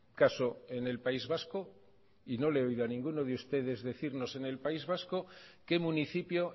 caso en el país vasco y no le he oído a ninguno de ustedes decirnos en el país vasco qué municipio